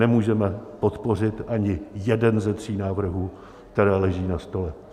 Nemůžeme podpořit ani jeden ze tří návrhů, které leží na stole.